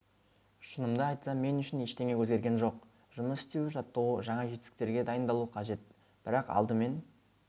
шынымды айтсам мен үшін ештеңе өзгерген жоқ жұмыс істеу жаттығу жаңа жетістіктерге дайындалу қажет бірақ алдымен